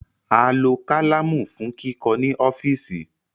A lo kalamu fun kikọ ni ọfiisi